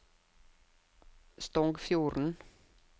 Stongfjorden